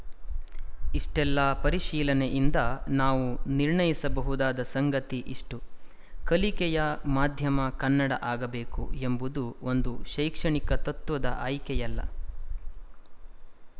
ಇಷ್ಟೆಲ್ಲ ಪರಿಶೀಲನೆಯಿಂದ ನಾವು ನಿರ್ಣಯಿಸಬಹುದಾದ ಸಂಗತಿ ಇಷ್ಟು ಕಲಿಕೆಯ ಮಾಧ್ಯಮ ಕನ್ನಡ ಆಗಬೇಕು ಎಂಬುದು ಒಂದು ಶೈಕ್ಷಣಿಕ ತತ್ತ್ವದ ಆಯ್ಕೆಯಲ್ಲ